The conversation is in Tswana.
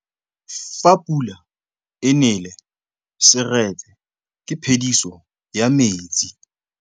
Fa pula e nelê serêtsê ke phêdisô ya metsi.